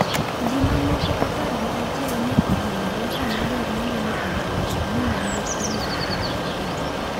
Ji ma moko apar gi achiel ne ohinyore sama jariembo ne obayo yoo mi nyamburkono otuomo rageng' .